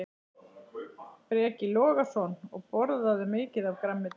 Breki Logason: Og borðarðu mikið af grænmeti?